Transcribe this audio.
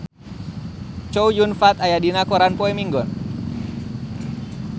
Chow Yun Fat aya dina koran poe Minggon